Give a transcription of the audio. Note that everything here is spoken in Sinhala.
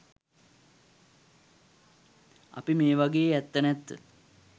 අපි මේවගේ ඇත්ත නැත්ත